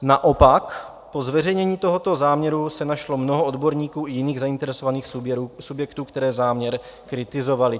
Naopak po zveřejnění tohoto záměru se našlo mnoho odborníků i jiných zainteresovaných subjektů, kteří záměr kritizovali.